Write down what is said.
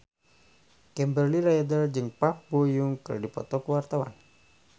Kimberly Ryder jeung Park Bo Yung keur dipoto ku wartawan